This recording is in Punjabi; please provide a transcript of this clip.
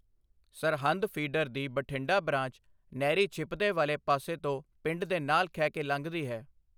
ਸਰਹਿੰਦ ਫੀਡਰ ਦੀ ਬਠਿੰਡਾ ਬਰਾਂਚ ਨਹਿਰੀ ਛਿਪਦੇ ਵਾਲੇ ਪਾਸੇ ਤੋਂ ਪਿੰਡ ਨਾਲ ਖਹਿ ਕੇ ਲੰਘਦੀ ਹੈ।